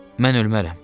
Mən ölmərəm.